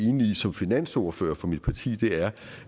som finansordfører for mit parti er